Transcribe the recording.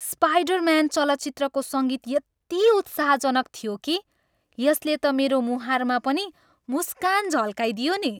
Spider-Man चलचित्रको सङ्गीत यति उत्साहजनक थियो कि यसले त मेरो मुहारमा पनि मुस्कान झल्काइदियो नि।